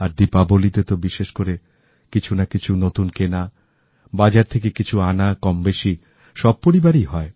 আর দীপাবলিতে তো বিশেষ করে কিছুনাকিছু নতুন কেনা বাজার থেকে কিছু আনা কমবেশি সব পরিবারেই হয়